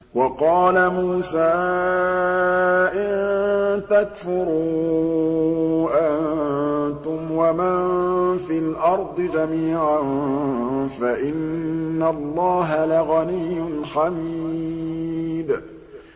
وَقَالَ مُوسَىٰ إِن تَكْفُرُوا أَنتُمْ وَمَن فِي الْأَرْضِ جَمِيعًا فَإِنَّ اللَّهَ لَغَنِيٌّ حَمِيدٌ